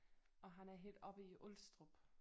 Og han er helt oppe i Ulstrup